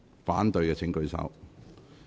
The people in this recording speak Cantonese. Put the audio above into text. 反對的請舉手。